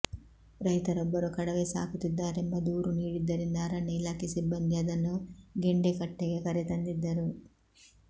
ರೈತರೊಬ್ಬರು ಕಡವೆ ಸಾಕುತ್ತಿದ್ದಾರೆಂಬ ದೂರು ನೀಡಿದ್ದರಿಂದ ಅರಣ್ಯ ಇಲಾಖೆ ಸಿಬ್ಬಂದಿ ಅದನ್ನು ಗೆಂಡೆಕಟ್ಟೆಗೆ ಕರೆತಂದಿದ್ದರು